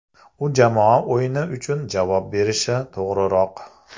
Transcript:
U jamoa o‘yini uchun javob berishi to‘g‘riroq.